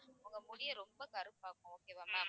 உங்க முடியை ரொம்ப கருப்பாக்கும் okay வா ma'am